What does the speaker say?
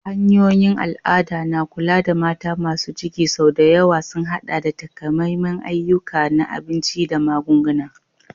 Hanyoyin al'ada na kula da mata masu ciki sau da yawa sun haɗa da takamaiman ayyuka na abinci da magunguna.